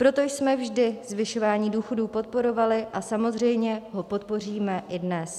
Proto jsme vždy zvyšování důchodů podporovali a samozřejmě ho podpoříme i dnes.